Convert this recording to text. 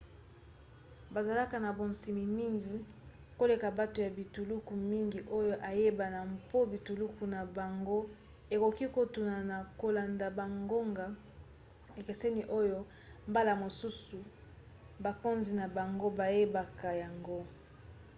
bazalaka na bonsomi mingi koleka bato ya bituluku mingi oyo eyebana mpo bituluku na bango ekoki kokotuna na kolanda bangonga ekeseni oyo mbala mosusu bakonzi na bango bayebaka yango